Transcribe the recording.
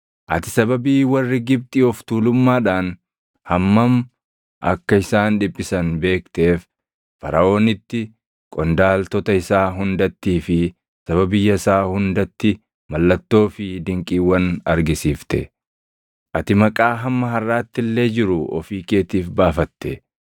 Ati sababii warri Gibxi of tuulummadhaan hammam akka isaan dhiphisan beekteef Faraʼoonitti, qondaaltota isaa hundattii fi saba biyya isaa hundatti mallattoo fi dinqiiwwan argisiifte. Ati maqaa hamma harʼaatti illee jiru ofii keetiif baafatte.